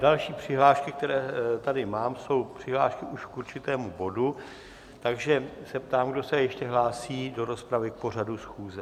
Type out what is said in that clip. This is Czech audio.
Další přihlášky, které tady mám, jsou přihlášky už k určitému bodu, takže se ptám, kdo se ještě hlásí do rozpravy k pořadu schůze?